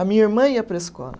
A minha irmã ia para a escola.